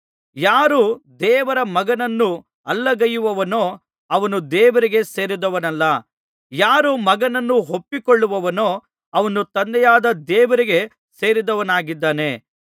ಯಾರು ದೇವರ ಮಗನನ್ನು ಅಲ್ಲಗಳೆಯುವನೋ ಅವನು ದೇವರಿಗೆ ಸೇರಿದವನಲ್ಲ ಯಾರು ಮಗನನ್ನು ಒಪ್ಪಿಕೊಳ್ಳುವನೋ ಅವನು ತಂದೆಯಾದ ದೇವರಿಗೆ ಸೇರಿದವನಾಗಿದ್ದಾನೆ